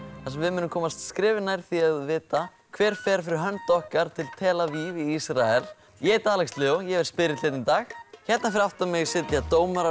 þar sem við munum komast skrefi nær því að vita hver fer fyrir hönd okkar til tel Aviv í Ísrael ég heiti Alex Leó ég er spyrill hérna í dag hérna fyrir aftan mig sitja dómarar